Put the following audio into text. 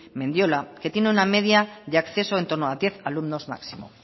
mendiola que tiene una media de acceso en torno a diez alumnos máximo